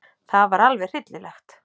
Það var alveg hryllilegt.